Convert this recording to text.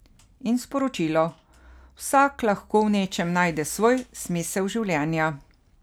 In sporočilo: 'Vsak lahko v nečem najde svoj smisel življenja'.